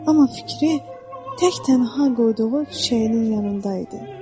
Amma fikri tək-tənha qoyduğu çiçəyinin yanında idi.